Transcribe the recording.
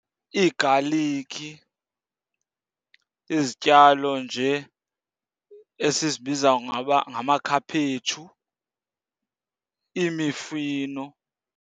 Iigalikhi, izityalo nje esizibiza ngamakhaphetshu, imifino.